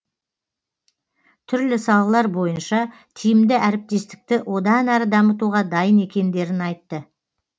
түрлі салалар бойынша тиімді әріптестікті одан әрі дамытуға дайын екендерін айтты